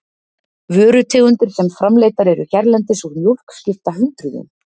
vörutegundir sem framleiddar eru hérlendis úr mjólk skipta hundruðum